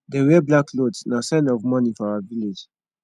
dem wear black cloth na sign of mourning for our village